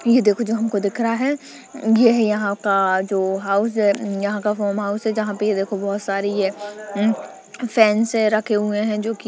ये देखो जो हमको दिख रहा है ये है यहाँ का जो हाउस है उन् यहाँ का होम हाउस है जहां पे ये देखो बहोत सारे फैंस हैं रखे हुए हैं जो कि--